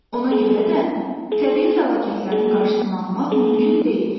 Ona görə də təbii fəlakətlərin qarşısını almaq mümkün deyil.